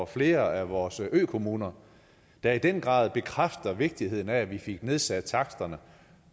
flere af vores økommuner der i den grad bekræftede vigtigheden af at vi fik nedsat taksterne